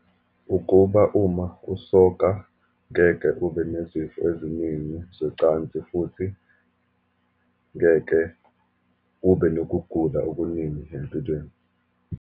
Ukuba uma kusoka ngeke ube nezifo eziningi zocansi, futhi ngeke ube nokugula okuningi empilweni.